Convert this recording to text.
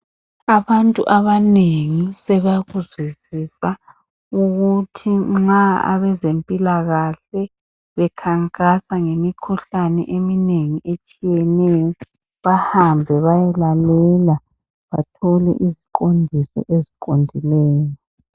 Abantu abanengi sebakuzwisisa ukuthi nxa abezempilakahle bekhankasa ngemikhuhlane eminengi rtshiyeneyo. Bahambe bayelalela. Bathole iziqondiso eziqondileyo.